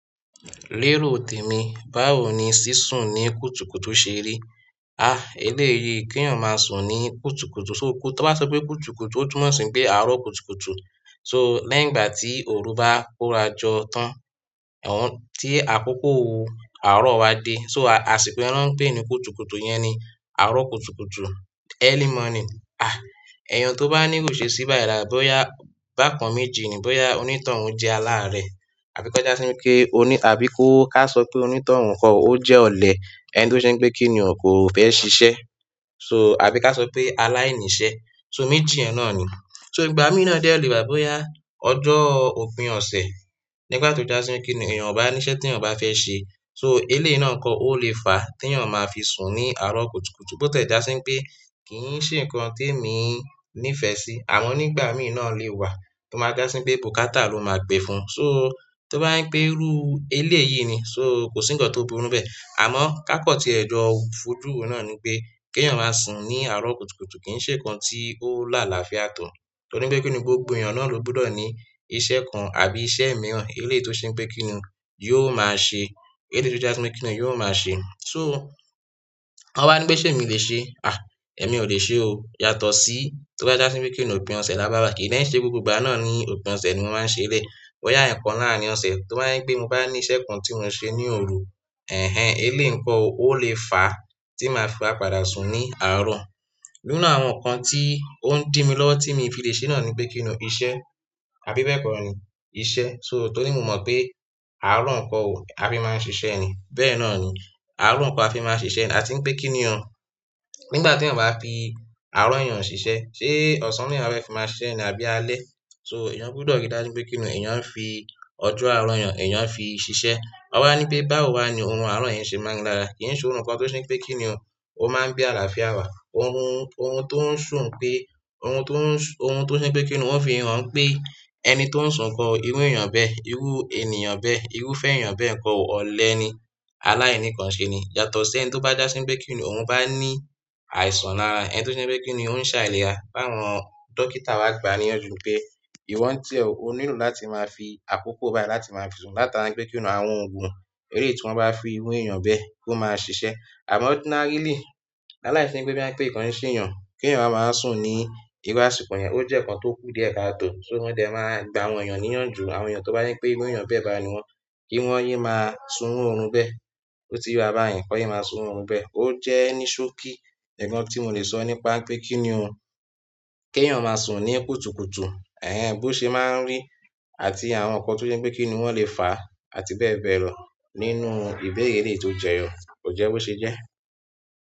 Lérò tèmi, báwo ni sísun ní kùtùkùtù ṣe rí? Ah! Eléyìí kí èèyàn máa sùn ní kùtùkùtù, so kú tan bá sọ pé kùtùkùtù ó tùmọ̀ sí pé àárọ̀ kùtùkùtù. So, lẹ́yìn ti oru ba kọrajọ tan ti akoko àárọ̀ ba de. Àsìkò yẹn ni won n pe ni kùtùkùtù, iyẹn ni àárọ̀ kùtùkùtù early morning. Ah! Ẹ̀yàn tó bá ní iru iṣesí bayi lára bóyá bákan méjì ni bóyá onítọ̀un jẹ́ aláárẹ̀, àbí kó já sí wipé oní-- àbí kó ká sọ pé onítọ̀un kọ ó jẹ́ ọ̀lẹ ẹ́ń tí ó ṣe pé kíni ko fẹ́ ṣiṣẹ́, so àbí ká sọ pé aláìníṣẹ́, so méjì yẹn náà ni. So ìgbà míì náà dẹ lè wá bóyá ọjọ òpin ọ̀sẹ̀ nígbà tó já sí pé kíni èèyàn o bá níṣẹ́ tí èèyàn bá fẹ́ ṣe, so eléyìí náà n kọ ó lè fà tèèyàn máa fi sùn ní àárọ̀ kùtùkùtù bó tiẹ ja si wípé kì í ṣe nǹkan tí èmi nífẹ̀ẹ́ sí. Àmọ́ nígbà míi náà le wà tó máa dá sí pé bùkátà ló máa gbé fún. So tó bá ń pe irú eléyìí ni so kòsí nǹkan tó burú bẹ́ẹ̀. Àmọ́ ká kan tí ẹ̀ jọ̀ fojú wo náà ni pé kí èèyàn máa sùn ní àárọ̀ kùtùkùtù kì í ṣe nǹkan tí ó láàláfia to. Torí pé kíni gbogbo èèyàn náà ló gbúdọ̀ ní iṣẹ́ kan àbí iṣẹ́ mìíràn eléyìí tó ṣe pé kíni yóò máa ṣe, eleyi tó jásí bí pé kíni yóò máa ṣe. So wọ́n wa ní pé ṣé emi lè ṣe? Ah! Èmi ò lè ṣe o yàtọ̀ sí tó bá jásí bí pé kíni òpin ọ̀sẹ̀ là bá bá kì í dẹ́ń ṣe gbogbo ìgbà náà ní òpin ọ̀sẹ̀ ni máa ń ṣe eleyi. Boya ẹkan larin ọsẹ, to ba jẹ le mo ba ni iṣẹ́ kan ti mo se ni oru. Ẹhẹ eleyi n kọo o le fa ti maa fi wa padà sun ni àárọ̀. Nínú àwọn nǹkan tí ó ń dí mi lọ́wọ́ tí mo fi lè ṣe náà ni pé kíni iṣẹ́ àfi bẹ́ẹ̀ kọ́ ni iṣẹ́. So torí mo mọ̀ pé àárọ̀ nkọo ò à fi máa ń ṣiṣẹ́ ni. Bẹ́ẹ̀ náà ni àárọ̀ nkọo à fi máa ń ṣiṣẹ́ ni àti ń pé kíni ọ̀n-- nígbà teèyàn bá fi àárọ̀ èèyàn ṣiṣẹ́, ṣé ọ̀sán ni eeyan wa fẹ fi máa ṣẹ́ ni àbí alẹ́? So èèyàn gbúdọ̀ rí dá síbí pé kíni èèyàn ń fi ọjọ́ àárọ̀ èèyàn ń fi ṣiṣẹ́. Wọ́n bá ní pé báwo wà ni ohun àárọ̀ yẹn ṣé máa ń lára? Kì í ṣe ohun kan tó ṣe pé kíni o, ó máa ń bí àlàáfíà wá. Orun, orun tó ń sùn pé, orun tó ń sùn, orun tó ṣe pé kíni wọ́n fi han pé ẹni tó ń sùn nkọo irú èèyàn bẹ́ẹ̀, irú ènìyàn bẹ́ẹ̀, irú fẹ́ èèyàn bẹ́ẹ̀ nǹkan ó ọ̀lẹ ni, aláìníkanṣe ni. Yàtọ̀ sí ẹni tó bá jásí bí pé kíni òhun bá ní àìsàn lára, ẹni to jẹ pe kini oun se àìlera tawọn dókítà wa gba ni iyanju pe iwọ n tiẹ o, o nílò láti maa fi akoko bayi láti maa fi sun látara wípé kini àwọn oogun eleyi ti won ba fún iru eeyan bẹ́ẹ̀ pe o ma sisẹ. Àmọ́ ordinarily, aláìsí pe boya pé nǹkan n ṣe èèyàn, kí èèyàn wa máa wa sùn ní iru àsìkò yẹn ó jẹ́ nǹkan tó kú díẹ̀ káàtò. So, mo dẹ maa gba àwọn eeyan ni iyanju, àwọn eeyan ro ba jẹ pe iru eeyan bẹ́ẹ̀ ba niwọn. Kiwọn ye maa sun iru orun bẹ́ẹ̀. Ó jẹ́ ní ṣókí, nǹkan tí mo lè sọ nípa pé kíni o, kí èèyàn máa sùn ní kùtùkùtù, ẹ̀hen bó ṣe máa ń rí àti àwọn nǹkan tó jẹ́ pé kíni wọ́n lè fà àti bẹ́ẹ̀ bẹ́ẹ̀ lọ nínú ìbéèrè eleyìí tó jẹ́ yọ, kò jẹ́ bó ṣe jẹ́.